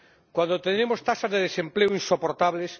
cuando tenemos tasas de desempleo insoportables